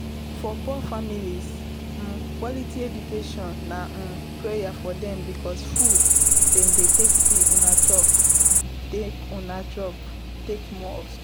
for poor families, um quality education na um prayer for them because food dem no dey see um chop talk um chop talk more of school